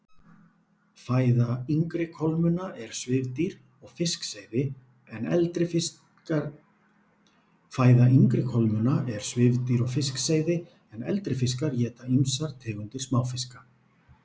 Fæða yngri kolmunna er svifdýr og fiskseiði en eldri fiskar éta ýmsar tegundir smáfiska.